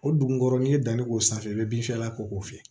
O dugukɔrɔ n'i ye danni k'o sanfɛ i bɛ binfiyɛla k'o fɛ